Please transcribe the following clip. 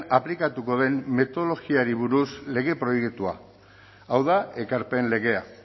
aplikatuko den metodologiari buruzko lege proiektua hau da ekarpen legea